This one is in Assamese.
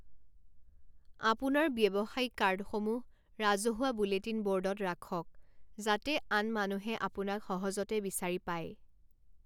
আপোনাৰ ব্যৱসায়িক কাৰ্ডসমূহ ৰাজহুৱা বুলেটিন বৰ্ডত ৰাখক যাতে আন মানুহে আপোনাক সহজতে বিচাৰি পায়।